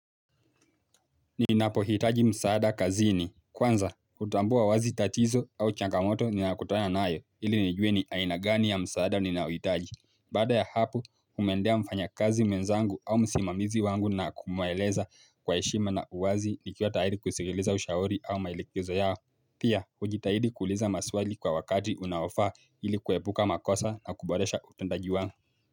Ninapo hitaji msaada kazini. Kwanza, hutambua wazi tatizo au changamoto ninakutana nayo ili nijue ni ainagani ya msaada ninauhitaji. Baada ya hapo, humwendea mfanya kazi mwenzangu au msimamizi wangu na kumuelezea kwa heshima na uwazi ni ikiwa kusikiliza ushauri wao au mailekezo yao. Pia, hujitahidi kuuliza maswali kwa wakati unaowafaa ili kuhepuka makosa na kuboresha utendaji wangu.